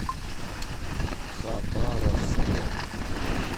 хабаровске